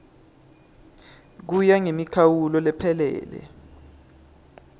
kuya ngemikhawulo lephelele